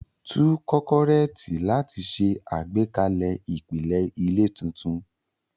Tú kọ́kọ́rẹ́ẹ̀tì láti ṣe àgbékalẹ̀ ìpìlẹ̀ ilé tuntun.